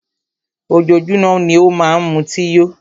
Ojoójúmọ́ ni ó má n mutí yó.